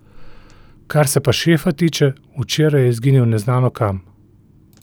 Kar se pa šefa tiče, včeraj je izginil neznano kam.